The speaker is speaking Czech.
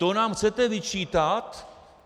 To nám chcete vyčítat?